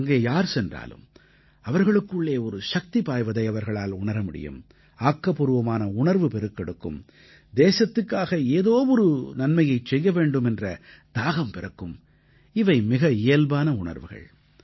அங்கே யார் சென்றாலும் அவர்களுக்குள்ளே ஒரு சக்தி பாய்வதை அவர்களால் உணர முடியும் ஆக்கப்பூர்வமான உணர்வு பெருக்கெடுக்கும் தேசத்துக்காக ஏதோ ஒரு நன்மையைச் செய்ய வேண்டும் என்ற தாகம் பிறக்கும் இவை மிக இயல்பான உணர்வுகள்